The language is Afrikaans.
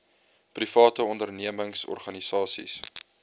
private ondernemings organisasies